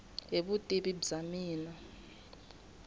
hi vutivi bya mina i